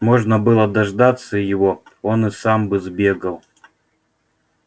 можно было дождаться его он и сам бы сбегал